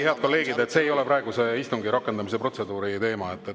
Head kolleegid, see ei ole praeguse istungi rakendamise protseduuri teema.